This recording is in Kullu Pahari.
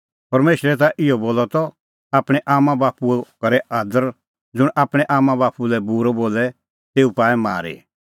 परमेशरै ता इहअ बोलअ त आपणैं आम्मांबाप्पूओ करै अदर ज़ुंण आपणैं आम्मांबाप्पू लै बूरअ बोले तेऊ पाऐ मारी